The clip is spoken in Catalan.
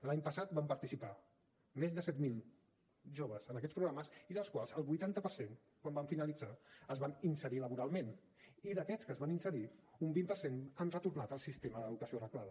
l’any passat van participar més de set mil joves en aquests programes i dels quals el vuitanta per cent quan van finalitzar es van inserir laboralment i d’aquests que es van inserir un vint per cent han retornat al sistema de l’educació reglada